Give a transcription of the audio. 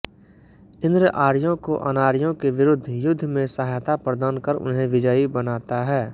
इन्द्र आर्यों को अनार्यों के विरुद्ध युद्ध में सहायता प्रदान कर उन्हें विजयी बनाता है